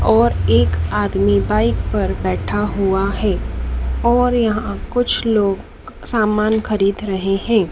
और एक आदमी बाइक पर बैठा हुआ है और यहां कुछ लोग सामान खरीद रहे हैं।